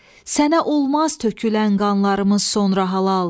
Sənə olmaz tökülən qanlarımız sonra halal.